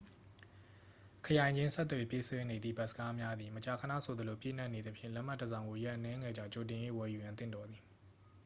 ခရိုင်ချင်းဆက်သွယ်ပြေးဆွဲနေသည့် ဘတ်စ်ကားများသည် မကြာခဏဆိုသလို ပြည့်နှက်နေသဖြင့် လက်မှတ်တစ်စောင်ကို ရက်အနည်းငယ်ကြာ ကြိုတင်၍ ဝယ်ယူရန် သင့်တော်သည်